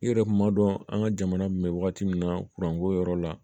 I yɛrɛ kun b'a dɔn an ka jamana kun bɛ wagati min na ko yɔrɔ la